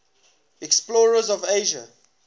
explorers of asia